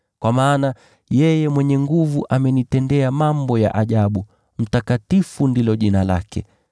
kwa maana yeye Mwenye Nguvu amenitendea mambo ya ajabu: jina lake ni takatifu.